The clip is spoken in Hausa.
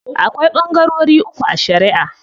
Akwai ɓangarori uku a shariʼa.